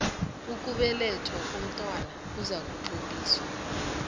ukubelethwa komntwana kuzakutloliswa